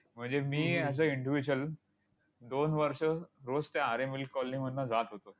म्हणजे मी as a individual दोन वर्ष रोज त्या आरे मिल्क कॉलनी मधनं जात होतो.